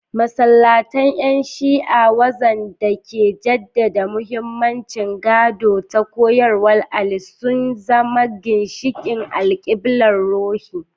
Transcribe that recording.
Masallatan ‘yan Shi’a, waxanda ke jaddada mahimmancin gado da koyarwar Ali, sun zama ginshiqin alkiblar ruhi.